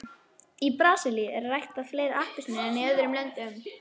í brasilíu eru ræktaðar fleiri appelsínur en í öðrum löndum